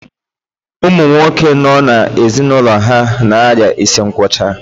Ụmụ nwoke no n'ezinaulo ha na-aria isi nkwocha